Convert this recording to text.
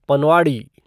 पनवाड़ी